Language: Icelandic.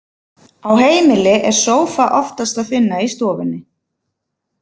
Á heimili er sófa oftast að finna í stofunni.